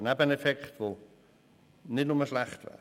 Das ist ein Nebeneffekt, der nicht nur schlecht wäre.